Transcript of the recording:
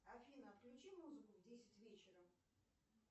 афина отключи музыку в десять вечера